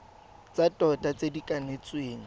tsa tota tse di kanetsweng